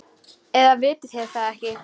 Eða vitið þér það ekki.